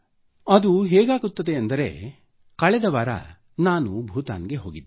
ಮತ್ತೆ ಏನಾಗುತ್ತದೆ ಕಳೆದ ವಾರ ನಾನು ಭೂತಾನ್ಗೆ ಹೋಗಿದ್ದೆ